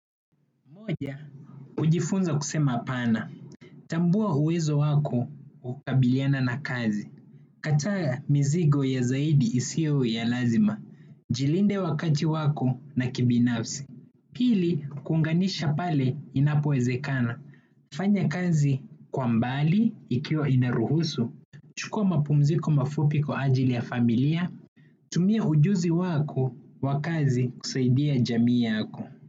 Moja, hujifunza kusema hapana, tambua uwezo wako wa kukabiliana na kazi. Kataa mizigo ya zaidi isio ya lazima, jilinde wakati wako na kibinafsi. Pili, kuunganisha pale inapoezekana, fanya kazi kwa mbali ikiwa inaruhusu, chukua mapumziko mafupi kwa ajili ya familia, tumia ujuzi wako wa kazi kusaidia jamii yako.